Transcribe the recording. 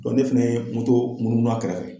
ne fɛnɛ ye moto munumunu a kɛrɛfɛ.